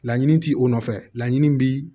Laɲini ti o nɔfɛ laɲini bi